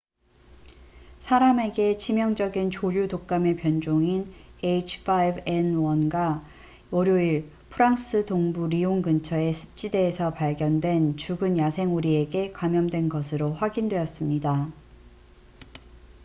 사람에게 치명적인 조류 독감의 변종인 h5n1가 월요일 프랑스 동부 리옹 근처의 습지대에서 발견된 죽은 야생 오리에게 감염된 것으로 확인됐습니다